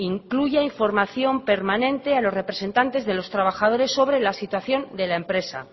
incluya información permanente a los representantes de los trabajadores sobre la situación de la